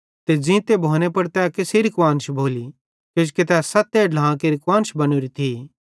ते ज़ींते भोने पुड़ तै केसेरी कुआन्श भोली किजोकि तै सत्ते ढ्लां केरि कुआन्श बनोरी थी